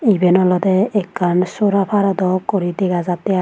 Iben ole ekkan sora paro dok guri dega jatte ai.